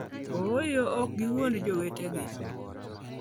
Ooyo, ok giwuond jowetegi!